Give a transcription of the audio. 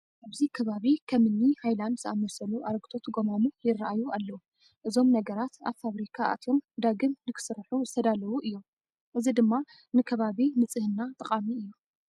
ኣብዚ ከባቢ ከም እኒ ሃይላንድ ዝኣምሰሉ ኣረጒቶት ጐማሙ ይርአዩ ኣለዉ፡፡ እዞም ነገራት ኣብ ፋብሪካ ኣትዮም ዳግም ንክስርሑ ዝተዳለዉ እዮም፡፡ እዚ ድማ ንከባቢ ንፅህና ጠቓሚ እዩ፡፡